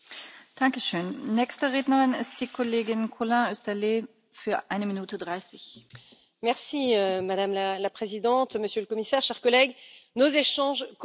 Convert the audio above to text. Madame la Présidente, Monsieur le Commissaire, chers collègues, nos échanges commerciaux et nos importations ne doivent pas être un frein dans la lutte que nous menons de manière collective contre le changement climatique.